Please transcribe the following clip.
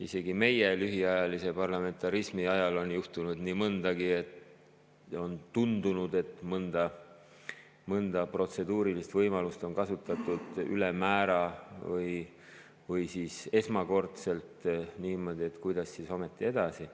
Isegi meie lühiajalise parlamentarismi jooksul on juhtunud nii mõndagi ja on tundunud, et mõnda protseduurilist võimalust on kasutatud ülemäära või siis esmakordselt niimoodi, et kuidas siis ometi edasi.